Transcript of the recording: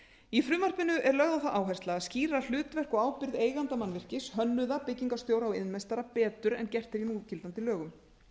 í frumvarpinu er lögð á það áhersla að skýra hlutverk og ábyrgð eiganda mannvirkis hönnuða byggingarstjóra og iðnmeistara betur en gert er í núgildandi lögum